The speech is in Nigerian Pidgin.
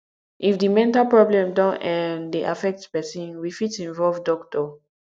if di mental problem don um dey affect person we fit involve doctor